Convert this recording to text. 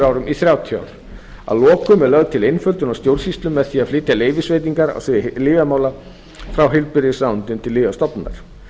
árum í þrjátíu ár að lokum er lögð til einföldun á stjórnsýslu með því að flytja leyfisveitingar á sviði lyfjamála frá heilbrigðisráðuneytinu til lyfjastofnunar